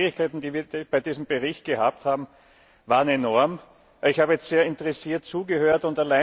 Die Schwierigkeiten, die wir bei diesem Bericht gehabt haben, waren enorm. Ich habe sehr interessiert zugehört.